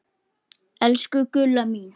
Elsku Gulla mín.